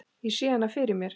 Ég sá hana fyrir mér.